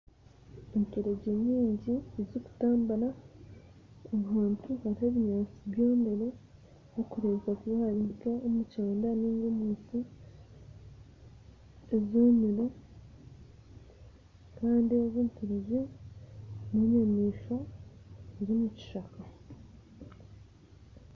Enturegye nyingi ezikutambura ahantu hariho ebinyansi byomire harikurebeka kuba hari nk'omukyanda ninga omunku ezomire, kandi eze'nturegye n'enyamishwa ez'omukishaka.